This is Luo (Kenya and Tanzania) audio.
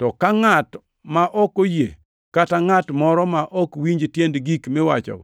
To ka ngʼat ma ok oyie, kata ngʼat moro ma ok winj tiend gik miwacho